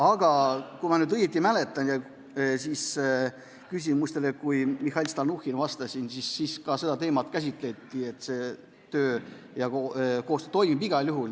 Aga kui ma nüüd õigesti mäletan, siis tol korral, kui Mihhail Stalnuhhin vastas küsimustele, käsitleti ka seda teemat ja leiti, et see töö ja koostöö toimib igal juhul.